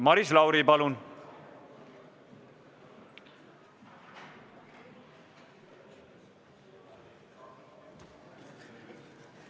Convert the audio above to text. Maris Lauri, palun!